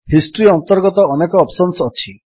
history ଅନ୍ତର୍ଗତ ଅନେକ options ଅଛି